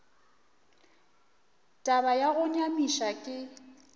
taba ya go nyamiša ke